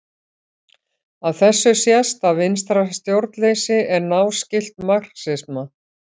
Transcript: Af þessu sést að vinstra stjórnleysi er náskylt marxisma.